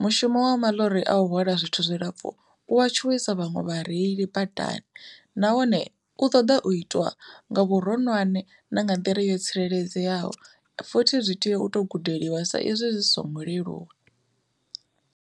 Mushumo wa maḽori a u hwala zwithu zwilapfhu u wa tshuwisa vhaṅwe vhareili badani, nahone u ṱoḓa u itwa nga vhuronwane na nga nḓila yo tsireledzeaho futhi zwi tea u to gudeliwa sa izwi zwi songo leluwa.